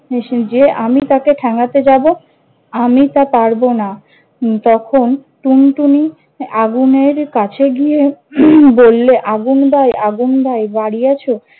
যে আমি তাকে ঠেঙ্গাতে যাব? আমি তা পারব না। উম তখন টুনটুনি আগুনের কাছে গিয়ে বললে- আগুন ভাই আগুন ভাই বাড়ি আছো?